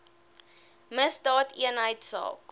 misdaadeenheidsaak